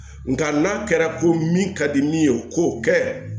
Nga n'a kɛra ko min ka di min ye k'o kɛ